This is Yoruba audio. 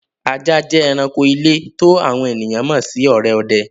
Àjà jẹ́ èránkò ilẹ̀ tó àwọn ènìyàn mọ́ sì òré òdẹ́.